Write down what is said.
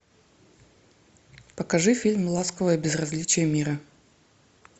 покажи фильм ласковое безразличие мира